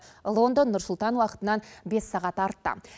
лондон нұр сұлтан уақытынан бес сағат артта